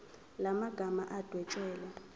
la magama adwetshelwe